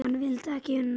Hann vildi ekki una því.